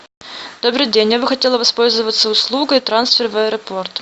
добрый день я бы хотела воспользоваться услугой трансфер в аэропорт